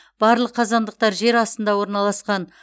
барлық қазандықтар жер астында орналасқан